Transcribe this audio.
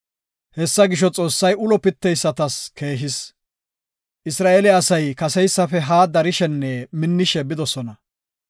Hessa gisho, Xoossay ulo pitteysatas keehis. Isra7eele asay kaseysafe haa darshenne minnishe bidosona.